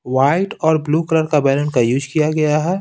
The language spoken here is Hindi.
वाइट और ब्लू कलर का बैलन का यूज किया गया है।